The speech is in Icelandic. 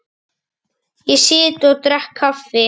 Ég sit og drekk kaffi.